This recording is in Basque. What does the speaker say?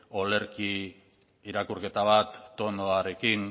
olerki irakurketa bat tonuarekin